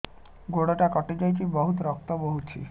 ଗୋଡ଼ଟା କଟି ଯାଇଛି ବହୁତ ରକ୍ତ ବହୁଛି